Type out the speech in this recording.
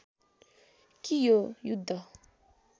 कि यो युद्ध